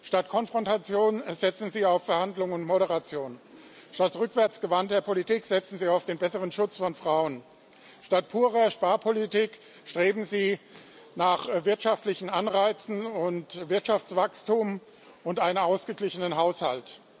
Statt Konfrontation setzen Sie auf Verhandlungen und Moderation, statt rückwärtsgewandter Politik setzen Sie auf den besseren Schutz von Frauen, statt purer Sparpolitik streben Sie nach wirtschaftlichen Anreizen und Wirtschaftswachstum und einem ausgeglichenen Haushalt.